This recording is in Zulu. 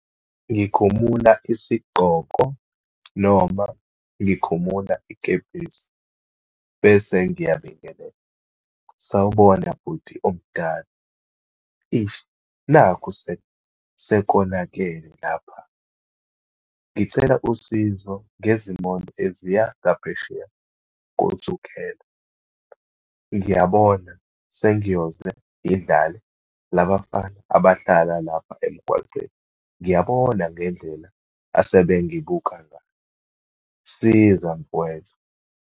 Ngikhumula isigqoko noma ngikhumula ikepisi, bese ngiyabingelela. Sawubona bhuti omdala, eish nakhu sekonakele lapha. Ngicela usizo ngezimonto eziya ngaphesheya koThukela. Ngiyabona sengiyoze ngidlale labafana abahlala lapha emgwaqeni. Ngiyabona ngendlela asebengibuka ngayo. Siza mfowethu.